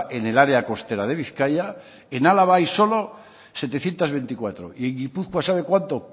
en el área costera de bizkaia en álava hay solo setecientos veinticuatro y en gipuzkoa sabe cuánto